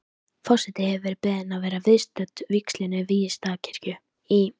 Forseti hefur verið beðin að vera viðstödd vígslu Víðistaðakirkju í